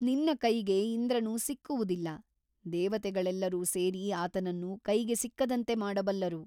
ನಿನ್ನ ಕೈಗೆ ಇಂದ್ರನು ಸಿಕ್ಕುವುದಿಲ್ಲ ದೇವತೆಗಳೆಲ್ಲರೂ ಸೇರಿ ಆತನನ್ನು ಕೈಗೆ ಸಿಕ್ಕದಂತೆ ಮಾಡಬಲ್ಲರು.